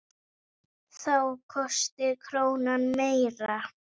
Þá kosti krónan meira.